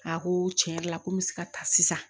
A ko tiɲɛ yɛrɛ la ko n bɛ se ka taa sisan